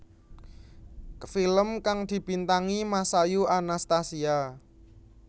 Film kang dibintangi Masayu Anastasia